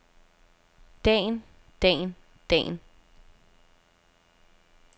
dagen dagen dagen